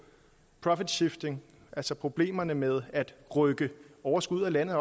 profit shifting altså problemerne med at rykke overskud ud af landet